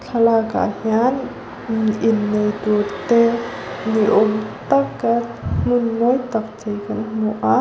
thlalâkah hian innei tûrte ni âwm taka hmun mawi tak chei kan hmu a.